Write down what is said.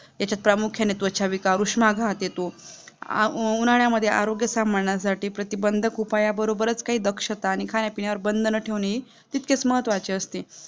याच्या प्रामुख्याने त्वचा विकार उषमाघात येतो, उन्हाळ्यामध्ये आरोग्य सांभाळण्यासाठी प्रतिबंधक उपायाबरोबरच काही दक्षता आणि खाण्यापिण्यावर बंधन ठेवणे तितकच महत्त्वाचे असते